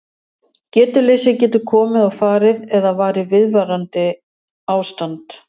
Getuleysi getur komið og farið eða verið viðvarandi ástand.